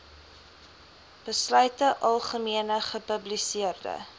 besluite algemene gepubliseerde